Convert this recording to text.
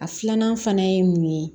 A filanan fana ye mun ye